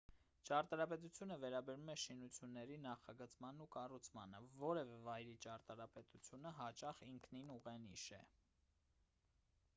ճարտարապետությունը վերաբերում է շինությունների նախագծմանն ու կառուցմանը որևէ վայրի ճարտարապետությունը հաճախ ինքնին ուղենիշ է